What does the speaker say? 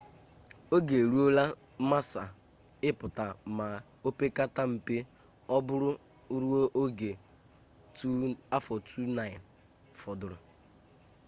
oge e ruola massa ịpụta ma opekata mpe ọ bụrụ ruo oge 2009 fọdụrụ